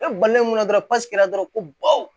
E balimamusora dɔrɔn ko baw